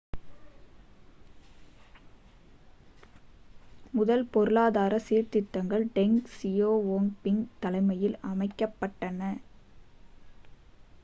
முதல் பொருளாதார சீர்திருத்தங்கள் டெங் சியாவோபிங் தலைமையில் அமைக்கப்பட்டன